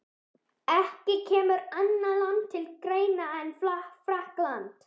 Ekki kemur annað land til greina en Frakkland.